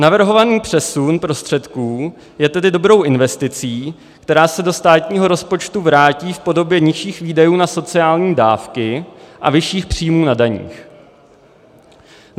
Navrhovaný přesun prostředků je tedy dobrou investicí, která se do státního rozpočtu vrátí v podobě nižších výdajů na sociální dávky a vyšších příjmů na daních.